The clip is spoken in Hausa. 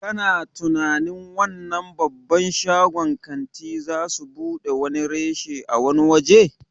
Kana tunanin wannan babban shagon ƙanti zasu buɗe wani reshe a wani waje?